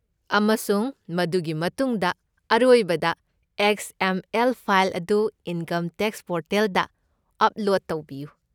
ꯑꯃꯁꯨꯡ ꯃꯗꯨꯒꯤ ꯃꯇꯨꯡꯗ ꯑꯔꯣꯏꯕꯗ ꯑꯦꯛꯁ. ꯑꯦꯝ. ꯑꯦꯜ. ꯐꯥꯏꯜ ꯑꯗꯨ ꯏꯟꯀꯝ ꯇꯦꯛꯁ ꯄꯣꯔꯇꯦꯜꯗ ꯑꯞꯂꯣꯗ ꯇꯧꯕꯤꯌꯨ꯫